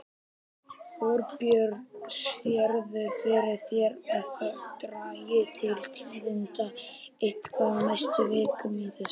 Þorbjörn: Sérðu fyrir þér að það dragi til tíðinda eitthvað á næstu vikum í þessu?